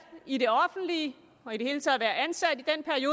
i det offentlige og i det hele taget at være ansat